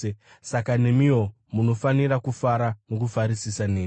Saka nemiwo munofanira kufara nokufarisisa neni.